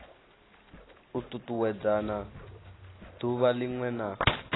u tutuwedzana duvha linwe na